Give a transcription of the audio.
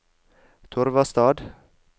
Torvastad